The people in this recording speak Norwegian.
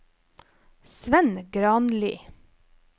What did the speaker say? Svend Granli